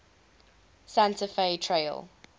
santa fe trail